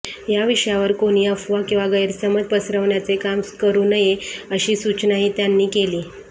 या विषयावर कोणी अफवा किंवा गैरसमज पसरवण्याचे काम करू नये अशी सुचनाही त्यांनी केली